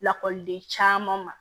Lakɔliden caman ma